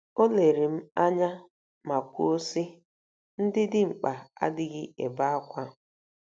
O lere m anya ma kwuo, sị, “ Ndị dimkpa adịghị ebe ákwá. ”